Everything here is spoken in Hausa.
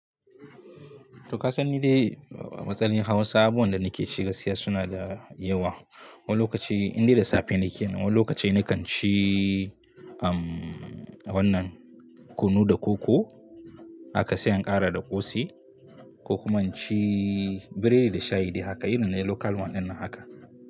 To ka san ni dai, a matsalin hawan sabon da nake ci gaskiya suna da yawa. Wani lokaci indai da safe nake, wani lokaci nakan ci um, wannan kunu da koko aka sai in ƙara da ƙosai ko kuma inci biredi da shayi dai haka. Irin nai local one dinnan haka.